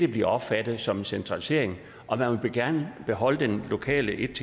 bliver opfattet som centralisering og man vil gerne beholde den lokale 11